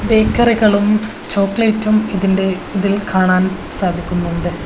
ബേക്കറികളും ചോക്ലേറ്റും ഇതിന്റെ ഇതിൽ കാണാൻ സാധിക്കുന്നുണ്ട്.